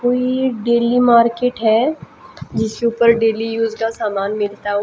कोई ये daily market है जिसे ऊपर डेली यूज का सामान मिलता हुआ--